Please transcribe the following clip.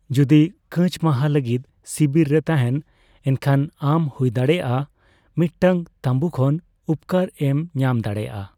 ᱡᱚᱫᱤ ᱠᱟᱹᱪ ᱢᱟᱦᱟ ᱞᱟᱹᱜᱤᱫ ᱥᱤᱵᱤᱨ ᱨᱮ ᱛᱟᱦᱮᱸᱱ, ᱮᱱᱠᱷᱟᱱ ᱟᱢ ᱦᱩᱭᱫᱟᱲᱮᱭᱟᱜ ᱢᱤᱫᱴᱟᱝ ᱛᱟᱸᱵᱩ ᱠᱷᱚᱱ ᱩᱯᱠᱟᱹᱨ ᱮᱢ ᱧᱟᱢ ᱫᱟᱲᱮᱭᱟᱜᱼᱟ ᱾